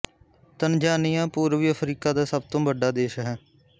Tanzania ਪੂਰਬੀ Africa ਦਾ ਸਭ ਤੋਂ ਵੱਡਾ ਦੇਸ਼ ਹੈ